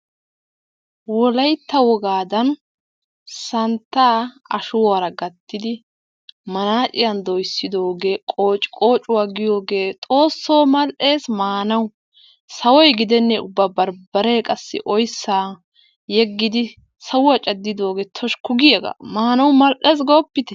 Wolaytta wogaddan santta ashshuwara gattidi manaciyaan doyssidoge qoociqocuwaa giyogge xoosso mal'es maanawu sawoy gidenne ubba barbaree qassi oyssa yegiddi sawuwaa cadidogge toshshikku giyagga maanawu mal'ees goopitte!